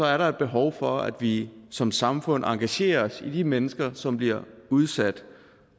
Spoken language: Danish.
er der et behov for at vi som samfund engagerer os i de mennesker som bliver udsat